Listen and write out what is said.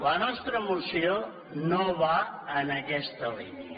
la nostra moció no va en aquesta línia